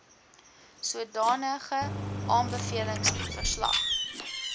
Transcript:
sodanige aanbevelings verslag